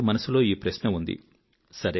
చాలా మంది మనసులో ఈ ప్రశ్న ఉంది